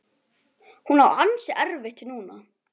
Hún á ansi erfitt núna.